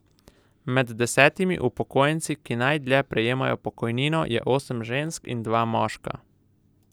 Med desetimi upokojenci, ki najdlje prejemajo pokojnino, je osem žensk in dva moška.